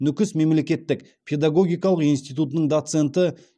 нүкіс мемлекеттік педагогикалық институтының доценті